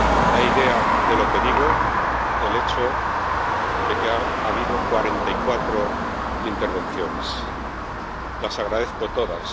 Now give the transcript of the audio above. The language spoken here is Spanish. Da idea de lo que digo el hecho de que haya habido 44 intervenciones las agradezco todas.